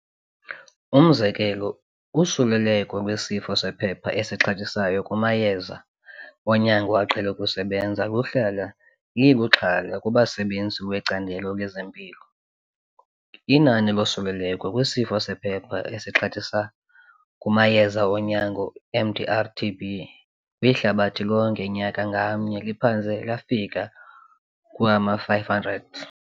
Umzekelo, usuleleko lwesifo sephepha esixhathisayo kumayeza onyango aqhele ukusebenza luhlala liluxhala kubasebezi lwecandelo lezempilo. Inani losuleleko lwesifo sephepha esixhathisa kumayeza onyango MDR-TB kwihlabathi lonke nyaka ngamnye liphantse lafika kwama-500.